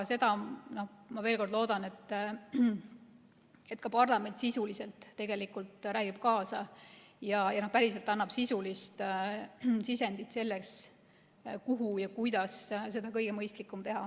Veel kord: ma loodan, et ka parlament sisuliselt tegelikult räägib kaasa ja päriselt annab sisulist sisendit, kuidas oleks seda kõige mõistlikum teha.